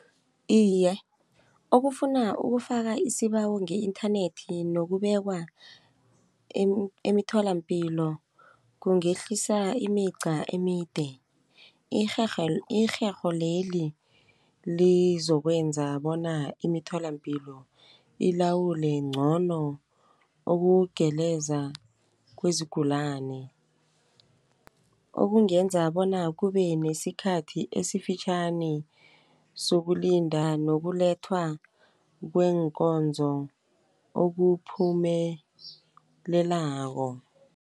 Iye, okufuna ukufaka isibawo nge-inthanethi nokubekwa emitholampilo kungehlisa imica emide. Irherholeli lizokwenza bona imitholampilo ilawule ngcono ukugeleza kwezigulani. Okungenza bona kube nesikhathi esifitjhani sokulinda nokulethwa kweenkonzo okuphumelelako.